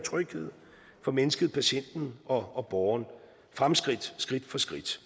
og tryghed for mennesket patienten og borgeren fremskridt skridt for skridt